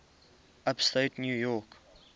upstate new york